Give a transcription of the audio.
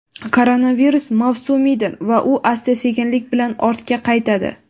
koronavirus mavsumiydir va u asta-sekinlik bilan ortga qaytadi.